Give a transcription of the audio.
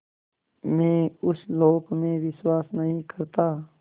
मैं उस लोक में विश्वास नहीं करता